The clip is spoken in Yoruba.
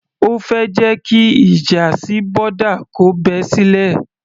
O fẹ́ jẹ́ kí ìjà sí boda kò bẹ́ sílẹ̀?